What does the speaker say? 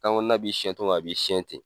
Kan kɔnɔna b'i sɛɲɛ cogo min a b'i siɲɛ ten.